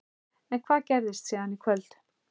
En hvað gerist síðan í kvöld?